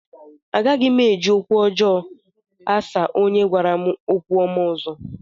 Agaghị m eji okwu ọjọọ asa onye gwara m okwu ọma ọzọ